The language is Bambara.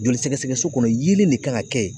Joli sɛgɛsɛgɛso kɔnɔ yeelen de kan ka kɛ yen